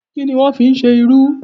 Kí ni wọ́n ń fí ṣe irú?